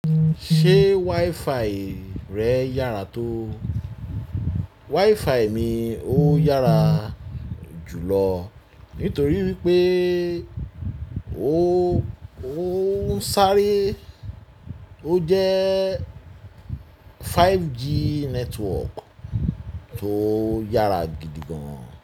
Ṣé WiFi rẹ yára tó? WiFi mi ó yára jùlọ nítorí wípé ó ń sáré, ó jẹ́ 5G network tó yára gidi gan.